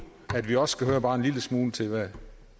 vi også skal høre bare en lille smule til hvad